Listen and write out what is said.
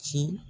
Ci